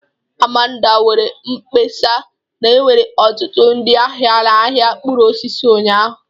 Amanda mere mkpesa na enwere ọtụtụ ndị ahịa na ahịa mkpụrụ osisi ụnyahụ